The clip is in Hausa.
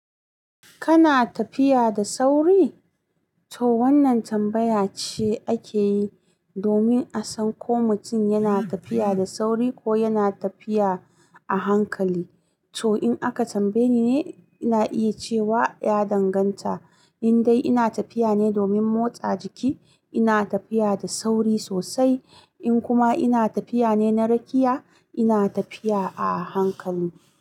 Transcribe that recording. Kana tafiya da sauri? To wannan tambaya ce ake yi domin a san ko mutum yana tafiya da sauri ko yana tafiya a hankali. To in aka tambaye ni, ina iya cewa ya danganta. Indai ina tafiya ne domin motsa jiki, ina tafiya da sauri sosai, in kuma ina tafiya ne na rakiya, ina tafiya a hankali.